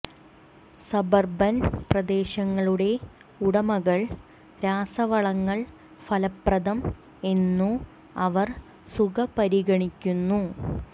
suburban പ്രദേശങ്ങളുടെ ഉടമകൾ രാസവളങ്ങൾ ഫലപ്രദം എന്നു അവർ സുഖ പരിഗണിക്കുന്നു